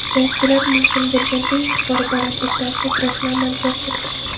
Jangchilar mumkin bo‘lgan eng yuqori balandlikdan sakrashni amalga oshirdi.